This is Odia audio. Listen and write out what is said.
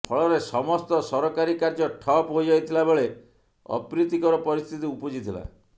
ଫଳରେ ସମସ୍ତ ସରକାରୀ କାର୍ଯ୍ୟ ଠପ୍ ହୋଇଯାଇଥିଲାବେଳେ ଅପ୍ରୀତିକର ପରିସ୍ଥିତି ଉପୁଜିଥିଲା